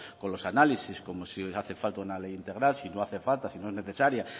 con los análisis como si hace falta una ley integral si no hace falta si no es necesaria